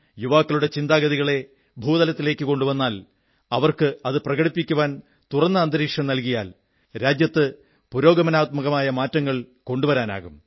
യുവാക്കളുടെ ചിന്താഗതികളെ ഭൂതലത്തിലേക്കു കൊണ്ടുവന്നാൽ അവർക്ക് അത് പ്രകടിപ്പിക്കാൻ തുറന്ന അന്തരീക്ഷം നല്കിയാൽ രാജ്യത്ത് പുരോഗമനാത്മകമായ മാറ്റങ്ങൾ കൊണ്ടുവരാനാകും